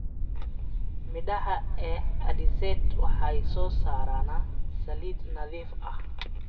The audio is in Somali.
Midhaha ee alizeti waxay soo saaraan saliid nadiif ah.